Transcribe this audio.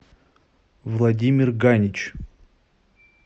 владимир ганич